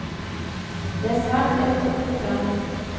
Det er svært lett å finne frem.